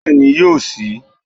Bẹ́ẹ̀ni yóò síi